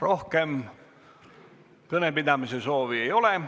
Rohkem kõnepidamise soovi ei ole.